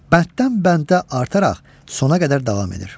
Bənddən bəndə artaraq sona qədər davam edir.